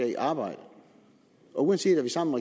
i arbejde og uanset at vi sammen